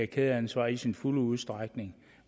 kædeansvar i sin fulde udstrækning